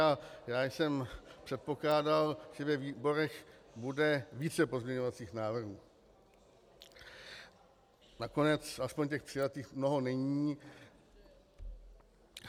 A já jsem předpokládal, že ve výborech bude více pozměňovacích návrhů, nakonec aspoň těch přijatých mnoho není.